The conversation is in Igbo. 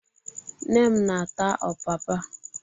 Nne m na-ata ọpapa.